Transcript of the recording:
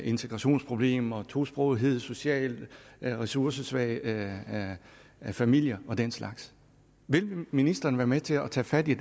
integrationsproblemer tosprogethed socialt ressourcesvage familier og den slags vil ministeren være med til at tage fat i